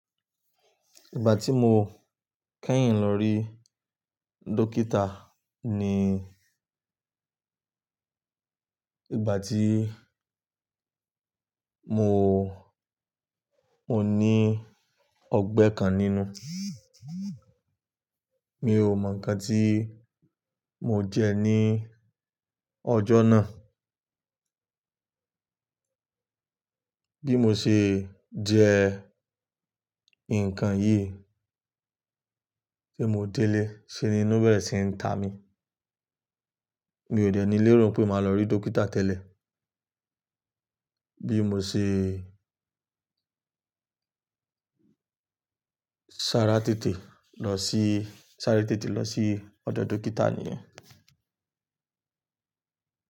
Ìgbà tí mo kẹ́yìn lọ rí dókítà ni ìgbà tí mo, mo ní ọgbẹ́ kan nínú. Mi ò mọ̀ nǹkan tí mo jẹ ní ọjọ́ náà. Bí mo ṣe jẹ nǹkan yìí tí mo délé, ṣe ninú bẹ̀rẹ̀ sí ń ta mi. Mi ò dẹ́ níi léèrò pé màá lọ rí dókítà tẹ́lẹ̀. Bí mo ṣe ṣàrà tètè lọ sí, ṣàré tètè lọ sí ọ̀dọ̀ dókítà nìyẹn.